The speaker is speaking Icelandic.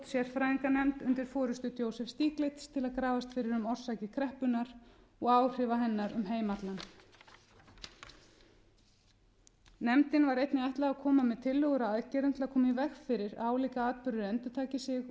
sérfræðinganefnd undir forustu joseph stiglitz til að grafast fyrir um orsakir kreppunnar og áhrif hennar um heim allan nefndinni var einnig ætlað að koma með tillögur að aðgerðum til að koma í veg fyrir að álíka atburðir endurtaki sig